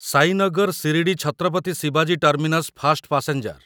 ସାଇନଗର ଶିରଡି ଛତ୍ରପତି ଶିବାଜୀ terminus fast passenger